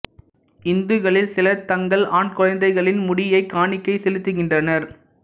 இந்துக்களில் சிலர் தங்கள் ஆண் குழைந்தைகளின் முடியை காணிக்கை செலுத்துகின்றனர்